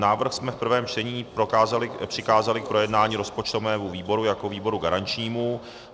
Návrh jsme v prvém čtení přikázali k projednání rozpočtovému výboru jako výboru garančnímu.